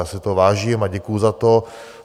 Já si toho vážím a děkuju za to.